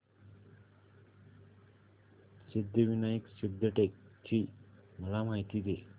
सिद्धिविनायक सिद्धटेक ची मला माहिती दे